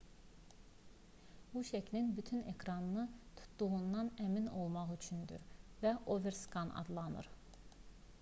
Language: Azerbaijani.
bu şəklin bütün ekranı tutduğundan əmin olmaq üçündür və overskan adlanır